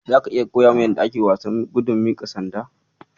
Zaka iya koya min yadda ake wasan gudun miƙa sanda?